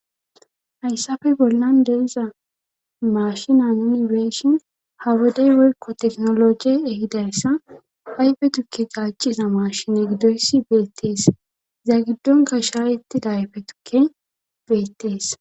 Hayssafe bollan deriza maashina nuni weeshin ha wodey worko teknologe ehidayssa hayfe tukke gaaciza maashine giddoyssi beettees za giddonka shaayettida hayfe tukke beettees.